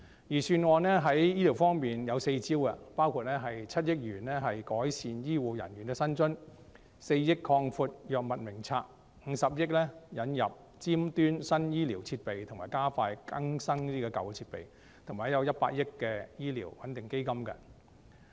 預算案在醫療方面有四招，包括撥款7億元改善醫護人員的薪津、撥款4億元以擴闊藥物名冊、撥款50億元引入尖端新醫療設備及加快更新舊設備，以及撥款100億元作公營醫療撥款穩定基金。